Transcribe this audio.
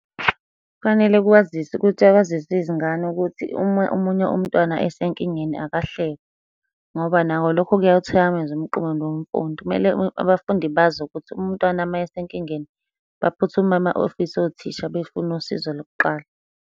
Kufanele kwaziswe ukuthi kwaziswe izingane ukuthi uma omunye umntwana esenkingeni akahlekwa, ngoba nako lokho kuyawuthikameza umqondo womfundi. Kumele abafundi bazi ukuthi umntwana uma esenkingeni baphuthume ama ofisi othisha befuna usizo lokuqala.